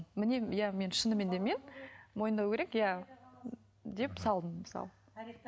міне иә шынымен де мен мойындау керек иә деп салдым мысалы